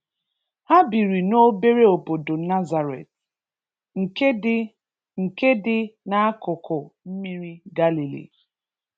Ha biri n'obere obodo Nazareth, nke di nke di n'akụkụ mmiri Galilee.